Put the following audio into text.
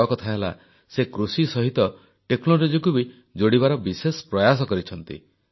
ବଡ଼କଥା ହେଲା ସେ କୃଷି ସହିତ ପ୍ରଯୁକ୍ତିକୁ ବି ଯୋଡ଼ିବାର ବିଶେଷ ପ୍ରୟାସ କରିଛନ୍ତି